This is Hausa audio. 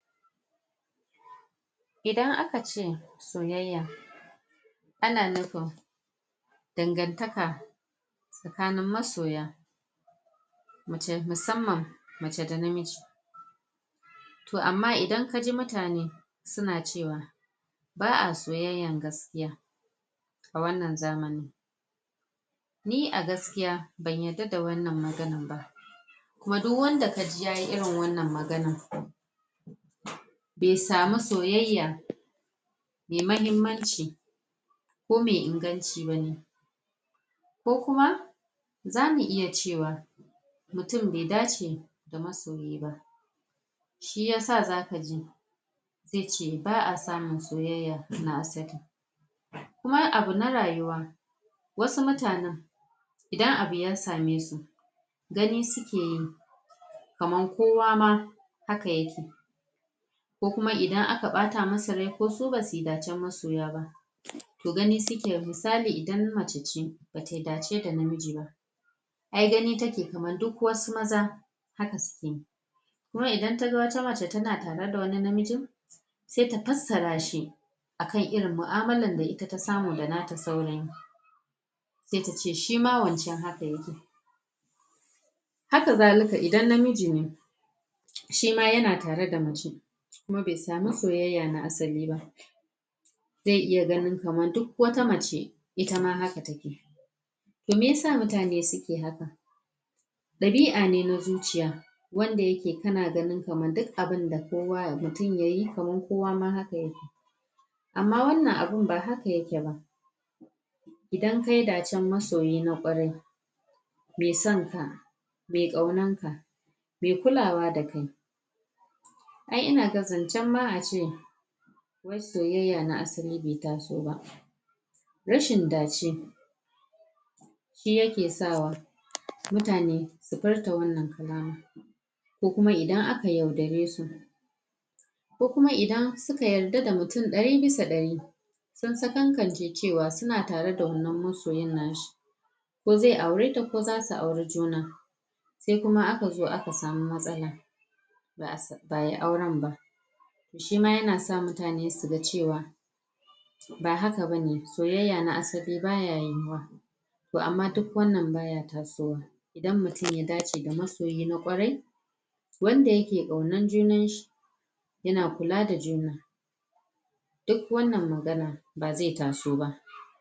idan aka ce soyayya ana nufin dangantaka tsakanin masoya muce musamman mace da namiji toh amma idan kaji muttane suna cewa ba'a soyayyan gaskiya a wannan zamanin ni a gaskiya ban yadda da wannan maganan ba kuma duk wanda ka ji yayi irin wannan maganan bai samu soyayya mai mahimmmanci ko mai inganci bane ko kuma zamu iya cewa mutum bai dace ga masoyi ba shiyasa zaka ji yace ba'a samun soyayya na asali kuma abu na rayuwa wasu mutannen idan abu ya same su gani sukeyi kaman kowa ma haka yake ko kuma idan aka ɓata musu rai ko su basuyi ɗacen masoya ba toh ganin suke misal idan macece bata yi ɗace da namiji ba ai gani take kaman duk wasu maza haka suke kuma idan taga wata mace tana tare da wani mijin sai ta fassara shi akan mu'amalan da ita ta samu da nata saurayin sai tace shima wancan haka yake haka zalika idan namiji ne shima yana tare da mace kuma bai samu soyayya na asali ba zai iya ganin kaman duk wata mace ita ma haka take toh meyasa mutane suke haka ɗabi'a ne na zuciya wanda yake kan ganin kaman duk abunda mutun yayi kaman kowa ma haka yake amma wannan abun ba haka yake ba idan kayi ɗacen masoyi na ƙwarai mai sanka mai kaunar ka mai kulawa da kai ai ina ga zancen ma ace wai soyayya na asali bai taso ba rashin ɗace shi yake sawa mutane su furta wannan kalamar ko kuma idan aka yaudare su ko kuma idan suka yarda da mutun ɗari bisa ɗari sun sakankance cewa suna tare da wannan masoyin nashi ko zai aureta ko zasu aure juna sai kuma aka zo aka samu matsala ba'ayi auren ba shima yana sa mutane su ga cewa ba haka bane soyayya na asali baya yiyuwa toh amma duk wannan baya tasowa idan mutum ya dace ga masoyi ƙwarai wanda yake kaunan junan su yana kula da juna duk wannan maganan bazai taso ba